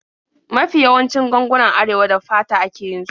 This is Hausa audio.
Mafi yawancin gangunan Arewa da fata ake yin su.